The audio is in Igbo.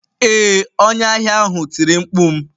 Ee, onye ahịa ahụ tiri mkpu m.